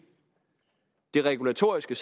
det regulatoriske